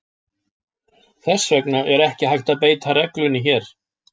Þess vegna er ekki hægt að beita reglunni hér.